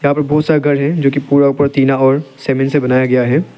और बहुत सारा गार्डन जो कि पूरा ऊपर टीना और सीमेंट से बनाया गया है।